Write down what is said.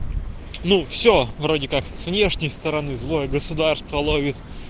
ну все вроде как с внешней стороны злое государство ловит